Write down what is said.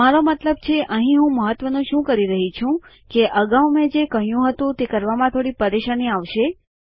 મારો મતલબ છે અહીં હું મહત્વનું શું કરી રહી છું કે અગાઉ મેં જે કહ્યું હતું તે કરવામાં થોડી પરેશાની આવશે